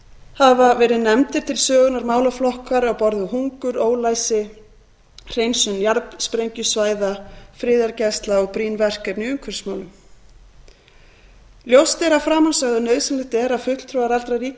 hafa verið nefndir til sögunnar málaflokkar á borð við hungur ólæsi hreinsun jarðsprengjusvæða friðargæslu og brýn verkefni í umhverfismálum ljóst er af framansögðu að nauðsynlegt er að fulltrúar allra ríkja